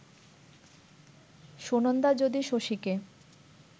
সুনন্দা যদি শশীকে